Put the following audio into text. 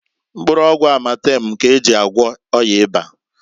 Mkpụrụ ọgwụ Amatemu k'eji agwo ọya ịba.